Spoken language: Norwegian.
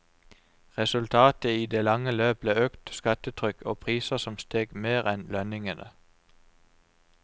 Resultatet i det lange løp ble økt skattetrykk og priser som steg mer enn lønningene.